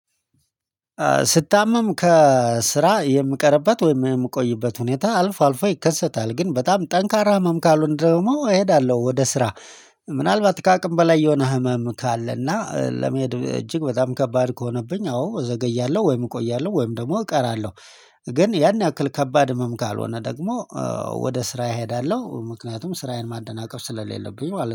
ስታመም ከስራ የምቀርበት ወይም የምቆይበት ሁኔታ አልፎ አልፎ ይከሰታል ግን በጣም ጠንካራ ህመም ካሎን ደግሞ እሄዳለሁ ወደ ስራ። ምናልባት ከአቅም በላይ የሆነ ህመም ካለና ለመሄድ እጅግ በጣም ከባድ ከሆነብኝ አዎ ዘገያለሁ ወይም እቆያለሁ ወይም ደግሞ እቀራለሁ። ግን ያን ያክል ከባድ ህመም ካልሆነ ደግሞ ወደ ስራ እሄዳለሁ ምክንያቱም ስራዬን ማደናቀፍ ስለሌለብኝ ማለት ነው